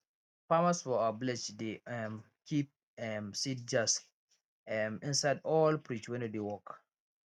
farmers for our village dey um keep um seed jars um inside old fridge wey no dey work